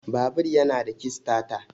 Babur yana da kistata